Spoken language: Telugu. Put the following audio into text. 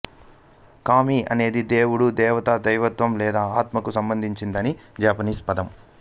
కామి అనేది దేవుడు దేవత దైవత్వం లేదా ఆత్మకు సంబంధించిన జపనీస్ పదం